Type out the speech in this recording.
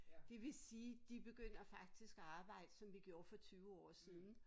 Det vil sige de begynder faktisk at arbejde som vi gjorde for 20 år siden